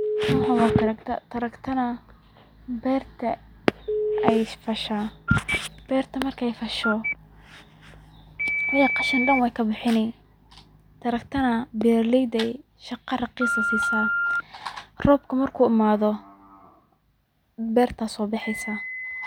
Waxan waa tarakta, tarakta na beerta ay fashaa, beerta markay fasho, wixi qashin dhan way kabixini, tarakta na beeraleyda ay shaqa raqis sii saa, qobka markuu amaado berta soo bexeysa